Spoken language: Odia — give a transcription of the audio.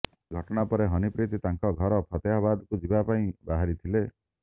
ଏହି ଘଟଣା ପରେ ହନିପ୍ରୀତ ତାଙ୍କ ଘର ଫତେହାବାଦକୁ ଯିବା ପାଇଁ ବହାରିଥିଲେ